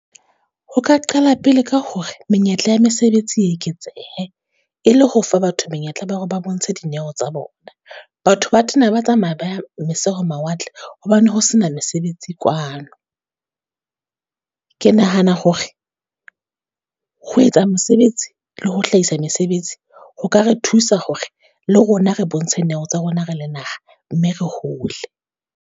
Ho ka qala pele ka hore menyetla ya mesebetsi e eketsehe, e le ho fa batho menyetla ba hore ba bontshe dineo tsa bona. Batho ba tena ba tsamaya ba moseho mawatle, hobane ho sena mesebetsi kwano. Ke nahana hore ho etsa mesebetsi le ho hlahisa mesebetsi, ho ka re thusa hore le rona re bontshe neo tsa rona re le naha, mme re hole.